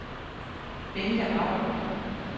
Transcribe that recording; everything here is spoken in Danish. Bente Raun